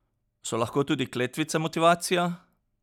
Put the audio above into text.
So lahko tudi kletvice motivacija?